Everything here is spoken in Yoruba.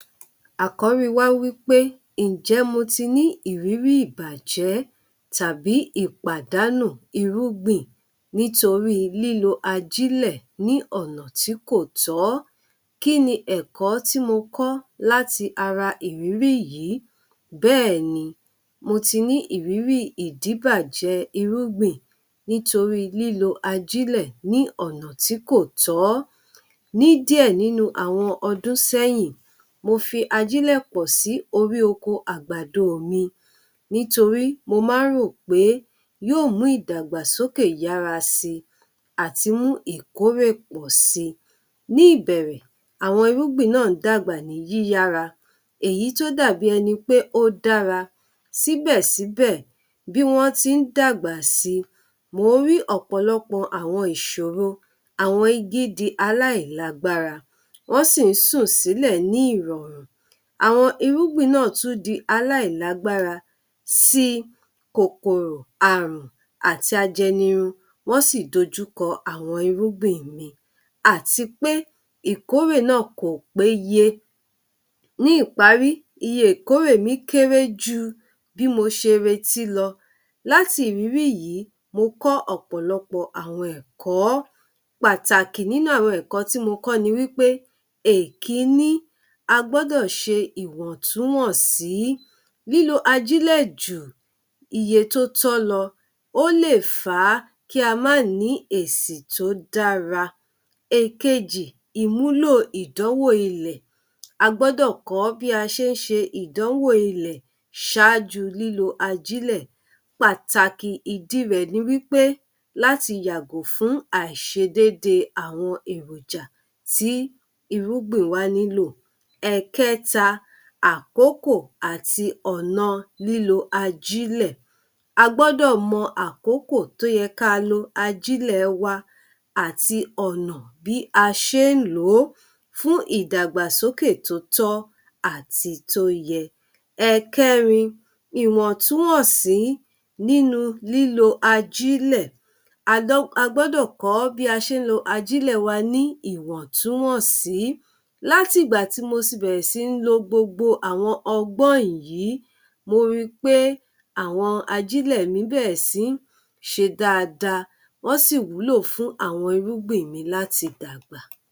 Àkọ̀rí wa wípé ǹ jẹ́ mo tí ní ìrirí ìbàjẹ́ tàbí ìpàdánù irúgbìn nítorí lílo ajílẹ̀ ní ọ̀nà tí kò tọ́, kíni ẹ̀kọ́ tí mo kọ̀ láti ara ìrírí yìí? Bẹ́ẹ̀ni mo ti rí ìrírí ìdíbàjẹ́ irúgbìn nítorí lílo ajílẹ̀ ní ọ̀nà tí kò tọ̀ọ́ ní díẹ̀ ninu àwọn ọdún sẹ́yìn, mo fi ajílẹ̀ pọ̀ sí orí oko àgbàdo mi nítorí mo má ń rò pé yóò mú ìdàgbàsókè yára sí àti mú ìkórè pọ̀ si ní ìbẹ̀rẹ̀, àwọn irúgbìn náà ń dàgbà ní yíyára, èyí tó dàbí ẹni pé ó dára, síbẹ̀-síbẹ̀ bí wọ́n ti ń dàgbà si, mò ń rí ọ̀pọ̀lọpọ̀ àwọn ìṣòro, àwọn igi di aláìlágbára, wọ́n sì ń sún sílẹ̀ ní ìrọ̀rùn. Àwọn irúgbìn náà tún di aláìlágbára si, kòkòrò àrùn àti ajẹnirun wọ́n sì dojú kọ àwọn irúgbìn mi, àti pé ìkórè náà kò péye. Ní ìparí iye ìkórè mi kéré ju bí mo ṣe retí lọ láti ìrírí yìí, mo kọ́ ọ̀pọ̀lọpọ̀ àwọn ẹ̀kọ́. Pàtàkì nínú àwọn ẹ̀kọ́ tí mo kọ́ ní wípé èkíní, a gbọ́dọ̀ ṣe ìwọ̀n-tún-wọ̀n-sí lílo ajílẹ̀ jù iye tó tọ́ lọ, ó lè fàá ki a ma á nìí èsì tó dára. Èkejì, ìmúlò ìdánwò ilẹ́: A gbọ́dọ̀ kọ́ bí a ṣe ń ṣe ìdánwò ilẹ̀ ṣááju lílo ajílẹ̀. Pàtàkì ìdí rẹ̀ ni wípé, láti yàgò fún àìṣedédé awon èròjà tí irúgbìn wa ní’lò. Ẹ̀ẹkẹta, àkókò àti ọ̀na lílo ajílẹ̀; a gbọ́dọ̀ mọ àkókò tó yẹ ká a lo ajílẹ̀ wa àti ọ̀nà bí a ṣe ń lòó fún ìdàgbàsókè tó tọ́ àti tó yẹ. Ẹ̀kẹ́rin, ìwọ̀n-tún-wọ̀n-sí nínu lílo ajílẹ̀: A dọ́ a gbọ́dọ̀ kọ́ bí a ṣe ń lo ajílẹ̀ wa ní ìwọ̀n-tún-wọ̀n-sí. Láti ìgbà tí mo ti bẹ̀rẹ̀ sí ń lo gbogbo àwọn ọgbọ́n yìí, mo ri pé àwọn ajílẹ̀ mi bẹ̀rẹ̀ sí ń ṣe dáadáa wọ́n sì wúlò fún àwọn irúgbìn mi láti dàgbà.